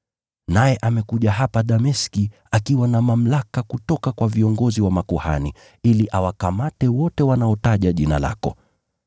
Naye amekuja hapa Dameski akiwa na mamlaka kutoka kwa viongozi wa makuhani ili awakamate wote wanaotaja jina lako.”